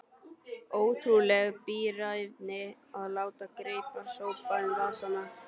Ótrúleg bíræfni að láta greipar sópa um vasana.